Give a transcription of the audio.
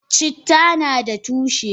Citta nada tushe.